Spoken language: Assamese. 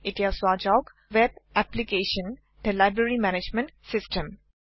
এটিয়া চোৱা যাওক web application - the library management system